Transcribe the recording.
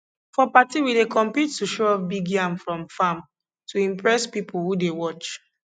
for party we dey compete to show off big yam from farm to impress people who dey watch